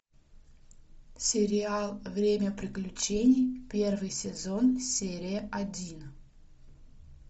сериал время приключений первый сезон серия один